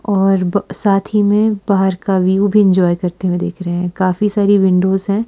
और ब साथ ही में बाहर का व्यू भी इंजॉय करते हुए दिख रहे हैं काफी सारी विंडोज हैं।